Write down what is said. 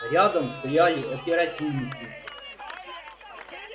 рядом стояли оперативники